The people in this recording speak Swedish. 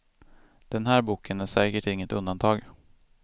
Den här boken är säkert inget undantag.